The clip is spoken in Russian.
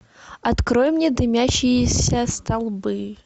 открой мне дымящиеся столбы